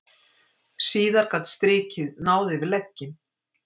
Síðar gat strikið náð yfir legginn.